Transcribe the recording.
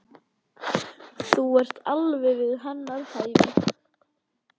Þú ert alveg við hennar hæfi.